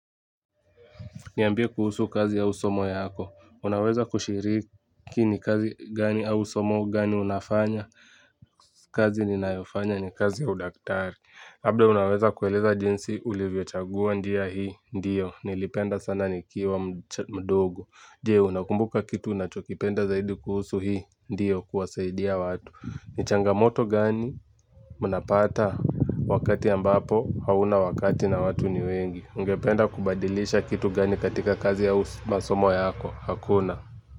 Niambie kuhusu kazi au somo yako. Unaweza kushiriki ni kazi gani au somo gani unafanya kazi ninayofanya ni kazi ya udaktari. Labda unaweza kueleza jinsi ulivyo chagua njia hii, ndiyo. Nilipenda sana nikiwa mdogo. Jee, unakumbuka kitu unachokipenda zaidi kuhusu hii, ndiyo kuwasaidia watu. Ni changamoto gani mnapata wakati ambapo hauna wakati na watu ni wengi. Ungependa kubadilisha kitu gani katika kazi au masomo yako hakuna.